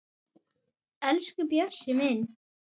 Elsku Bjössi minn.